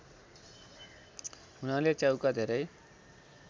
हुनाले च्याउका धेरै